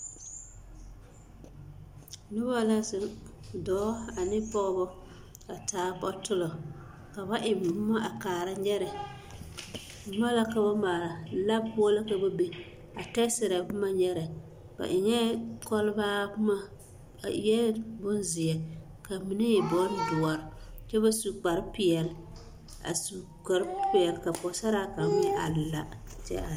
Noba la zeŋ, dɔɔ ane pɔgebɔ a taa bɔtolɔ ka ba eŋ boma a kaara nyɛrɛ, boma la ka ba maale, labo poɔ la ka ba be a tɛɛserɛ boma nyɛrɛ, ba eŋɛɛ kɔlbaa boma a eɛ bonzeɛ ka mine e doɔre doɔre kyɛ ba su kpare peɛle a su kpare peɛle ka Pɔgesaraa kaŋ meŋ are la kyɛ are.